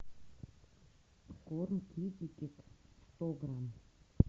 корм китекет сто грамм